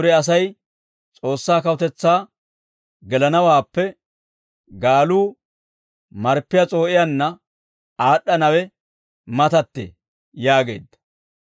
Dure Asay S'oossaa kawutetsaa gelanawaappe gaaluu marppiyaa s'oo'iyaanna aad'd'anawe matattee» yaageedda.